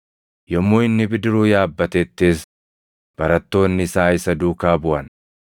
Yommuu inni bidiruu yaabbatettis, barattoonni isaa isa duukaa buʼan.